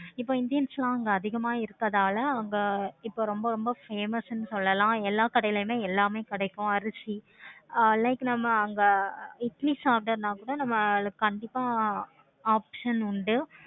இப்ப indians எல்லாம் அங்க அதிகமா இருக்கனால அங்க இப்ப ரொம்ப ரொம்ப famous ஆஹ் சொல்லலாம். எல்லா கடைளையுமே எல்லாமே கிடைக்கும். அரிசி alike இட்லி சாதம்னா கூட கண்டிப்பா அதுக்கு option உண்டு.